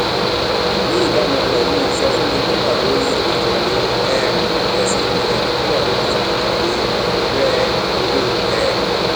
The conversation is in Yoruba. ní ìbámu pẹlú ìsọfúnni tó wà lórí ìkànnì um àjọ cbn tó wà lórí ìkànnì rẹ owó um